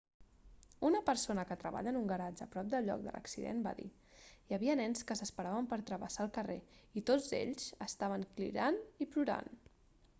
una persona que treballa en un garatge a prop del lloc de l'accident va dir hi havia nens que s'esperaven per travessar el carrer i tots ells estaven cridant i plorant